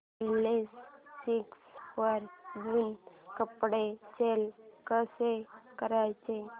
OLX वर जुनं कपाट सेल कसं करायचं